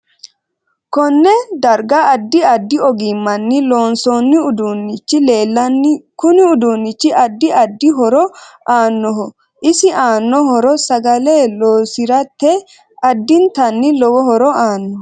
Konne darga addi addi ogimanni loonsooni uduunichi leelanni kuni uduunichi addi addi horo aanoho isi aano horo sagale loosirate addintanni lowo horo aaano